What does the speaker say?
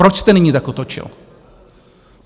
Proč jste nyní tak otočil?